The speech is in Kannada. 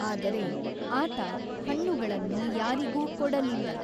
ಆದರೆ, ಆತ ಹಣ್ಣುಗಳನ್ನು ಯಾರಿಗೂ ಕೊಡಲಿಲ್ಲ.